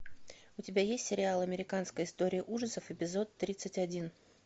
у тебя есть сериал американская история ужасов эпизод тридцать один